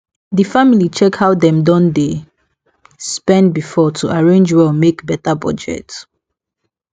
di family check how dem don dey spend before to arrange well make better budget